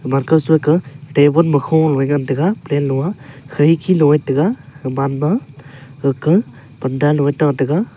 make seka babun ma kholo a ngan tega plant low a khirki low a ngan tega gaman ma gake panda liya tha tega.